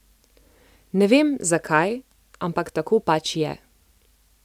Ne vem, zakaj, ampak tako pač je.